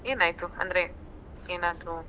ಏನಾಯ್ತು ಅಂದ್ರೆ ಏನಾದ್ರು